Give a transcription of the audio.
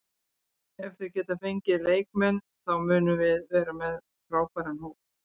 Ef þeir geta fengið þá leikmenn þá munum við vera með frábæran hóp.